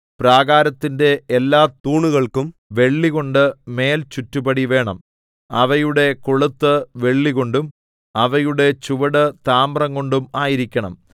പ്രാകാരത്തിന്റെ എല്ലാ തൂണുകൾക്കും വെള്ളികൊണ്ട് മേൽചുറ്റുപടി വേണം അവയുടെ കൊളുത്ത് വെള്ളികൊണ്ടും അവയുടെ ചുവട് താമ്രംകൊണ്ടും ആയിരിക്കണം